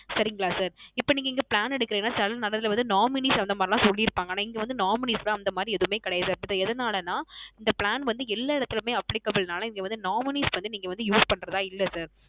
சரிங்களா Sir இப்போ நீங்க இங்கே Plan எடுக்குறிங்கான சில இடத்தில வந்து Nominees அந்த மாதிரி எல்லாம் சொல்லி இருப்பாங்க ஆனா இங்கே வந்து Nominees எல்லாம் அந்த மாதிரி எல்லாம் எதுவுமே இங்கே கிடையாது எது நாளன இந்த Plan வந்து எல்லா இடத்திலுமே Applicable நாள இங்க வந்து Nominees வந்து நீங்க வந்து Use பண்றதா இல்ல Sir